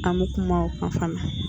An bɛ kuma o kan fana.